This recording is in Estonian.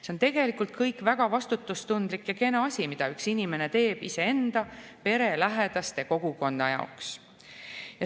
See on tegelikult kõik väga vastutustundlik ja kena asi, mida üks inimene teeb iseenda, pere, lähedaste ja kogukonna jaoks.